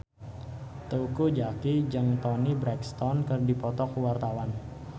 Teuku Zacky jeung Toni Brexton keur dipoto ku wartawan